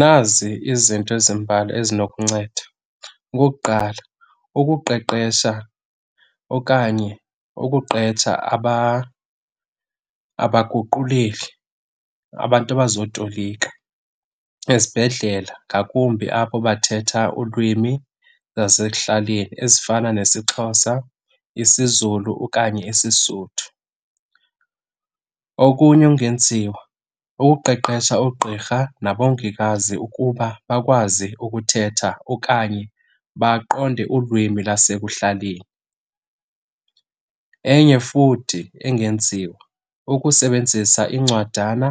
Nazi izinto ezimbalwa ezinokunceda. Okokuqala ukuqeqesha okanye ukuqetsha abaguquleli, abantu abazotolika ezibhedlela, ngakumbi abo bathetha ulwimi zasekuhlaleni ezifana nesiXhosa, isiZulu okanye isiSuthu. Okunye okungenziwa kukuqeqesha oogqirha nabongikazi ukuba bakwazi ukuthetha okanye baqonde ulwimi lasekuhlaleni. Enye futhi engenziwa ukusebenzisa iincwadana,